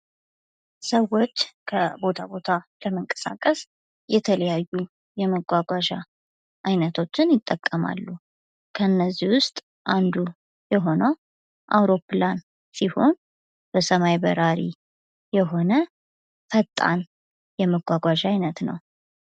ሰዎች ከቦታ ቦታ ለመንቀሳቀስ የተለያዩ የመጓጓዣ አይነቶችን ይጠቀማሉ። እነዚህ ውስጥ አንዱ የሆነው አውሮፕላን ሲሆን በሰማይ በራሪ የሆነ ፈጣን የመጓጓዣ አይነት ነው።